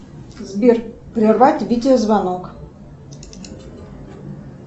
сбер прервать видео звонок